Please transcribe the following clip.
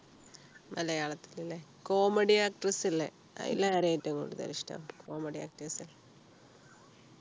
മലയാളത്തിൽ അല്ലെ comedy actors ഇല്ലേ അതിൽ ആരെയാ ഏറ്റവും കൂടുതൽ ഇഷ്ടം comedy actors ൽ